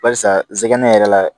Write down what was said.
Barisa nsɛnɛ yɛrɛ la